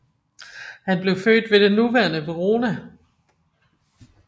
Han blev født ved det nuværende Verona